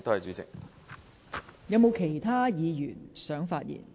是否有其他議員想發言？